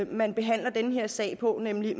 man behandler den her sag på nemlig